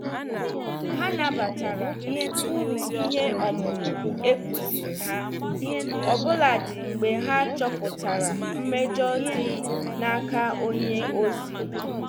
Ha nabatara uru ihe ọmụmụ ekuziri ha, obuladi mgbe ha chọpụtara mmejọ dị n'aka onye ozi.